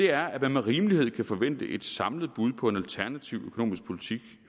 er at man med rimelighed kan forvente et samlet bud på en alternativ økonomisk politik